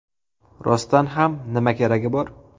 Rostdan ham, nima keragi bor?